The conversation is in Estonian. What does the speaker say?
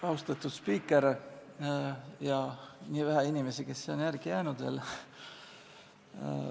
Austatud spiiker ja teised vähesed inimesed, kes siia on veel jäänud!